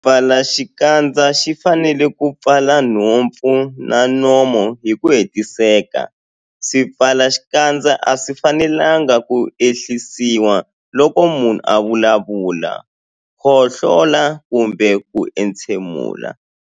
Xipfalaxikandza xi fanele ku pfala nhompfu na nomo hi ku hetiseka. Swipfalaxikandza a swi fanelanga ku ehlisiwa loko munhu a vulavula, khohlola kumbe ku entshemula.